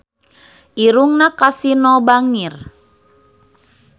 Irungna Kasino bangir